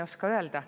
Ma ei oska öelda.